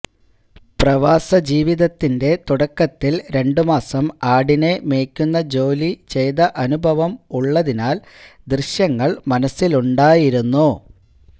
പ്രവാസ ജീവിതത്തിന്റെ തുടക്കത്തിൽ രണ്ടു മാസം ആടിനെ മേയ്ക്കുന്ന ജോലി ചെയ്ത അനുഭവം ഉള്ളതിനാൽ ദൃശ്യങ്ങൾ മനസ്സിലുണ്ടായിരുന്നു